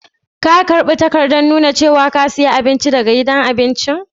Ka karba takadan nuna cewa ka siya abinci daga gidan abincin?